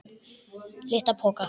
LITLA POKA!